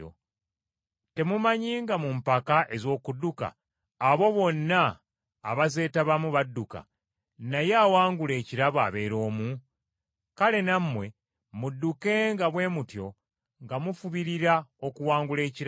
Temumanyi nga mu mpaka ez’okudduka abo bonna abazeetabamu badduka, naye awangula ekirabo abeera omu? Kale nammwe muddukenga bwe mutyo nga mufubirira okuwangula ekirabo.